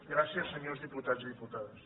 gràcies senyors diputats i diputades